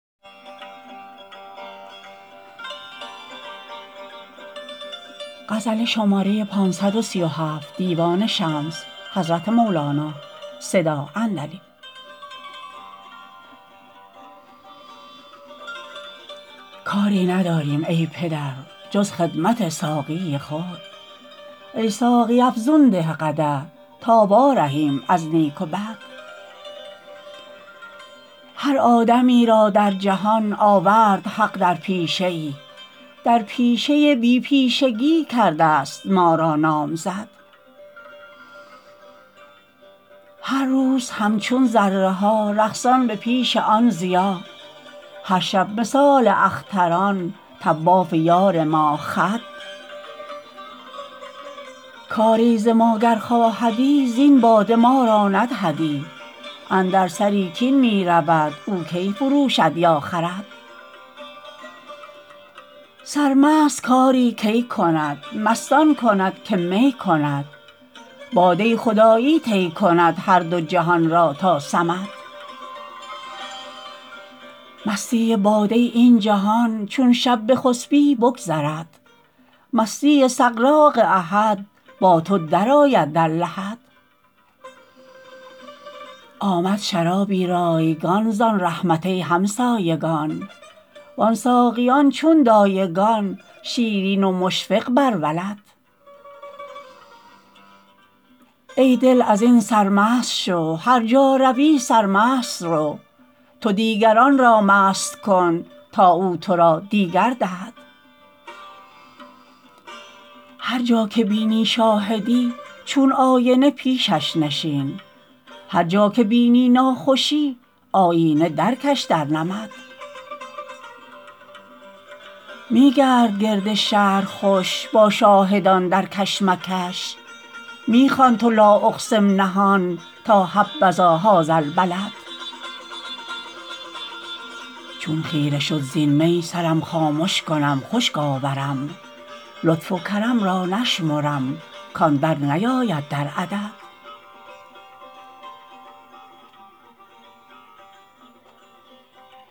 کاری نداریم ای پدر جز خدمت ساقی خود ای ساقی افزون ده قدح تا وارهیم از نیک و بد هر آدمی را در جهان آورد حق در پیشه ای در پیشه بی پیشگی کرده ست ما را نامزد هر روز همچون ذره ها رقصان به پیش آن ضیا هر شب مثال اختران طواف یار ماه خد کاری ز ما گر خواهدی زین باده ما را ندهدی اندر سری کاین می رود او کی فروشد یا خرد سرمست کاری کی کند مست آن کند که می کند باده خدایی طی کند هر دو جهان را تا صمد مستی باده این جهان چون شب بخسپی بگذرد مستی سغراق احد با تو درآید در لحد آمد شرابی رایگان زان رحمت ای همسایگان وان ساقیان چون دایگان شیرین و مشفق بر ولد ای دل از این سرمست شو هر جا روی سرمست رو تو دیگران را مست کن تا او تو را دیگر دهد هر جا که بینی شاهدی چون آینه پیشش نشین هر جا که بینی ناخوشی آیینه درکش در نمد می گرد گرد شهر خوش با شاهدان در کشمکش می خوان تو لااقسم نهان تا حبذا هذا البلد چون خیره شد زین می سرم خامش کنم خشک آورم لطف و کرم را نشمرم کان درنیاید در عدد